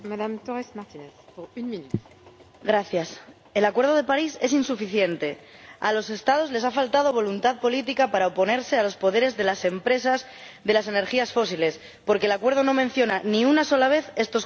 Señora Presidenta, el acuerdo de París es insuficiente. A los Estados les ha faltado voluntad política para oponerse a los poderes de las empresas de las energías fósiles, porque el acuerdo no menciona, ni una sola vez, estos combustibles.